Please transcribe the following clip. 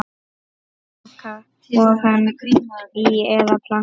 Moka ofan í eða planta?